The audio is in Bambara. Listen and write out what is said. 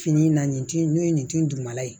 Fini na nin tin n'o ye nin tin dugumala ye